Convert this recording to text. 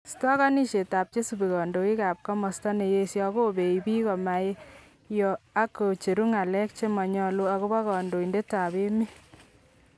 stakanishet akak chesubii kandoik ab komasta neyesha ko beei biik komayoo ak kocheru ng'alek chemanyalu akobo kandoinded ab emet